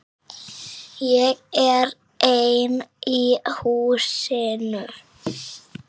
Ég er einn í húsinu.